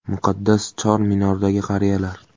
Muqaddas Chor Minordagi qariyalar.